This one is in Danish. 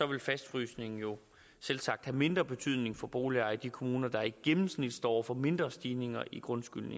vil fastfrysningen jo selvsagt have mindre betydning for boligejere i de kommuner der i gennemsnit står over for mindre stigninger i grundskylden